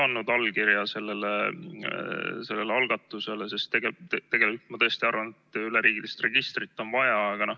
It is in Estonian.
] No ma olen ise ka andnud allkirja sellele algatusele, sest tegelikult ma tõesti arvan, et üleriigilist registrit on vaja.